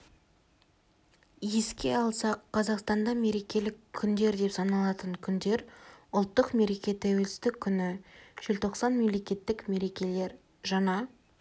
еске салсақ қазақстанда мерекелік күндер деп саналатын күндер ұлттық мереке тәуелсіздік күні желтоқсан мемлекеттік мерекелер жаңа